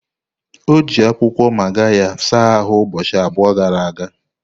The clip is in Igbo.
O ji akwụkwọ magarya saa ahụ ụbọchị abụọ gara aga.